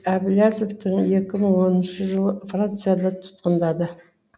әблязовты екі мың оныншы жылы францияда тұтқындады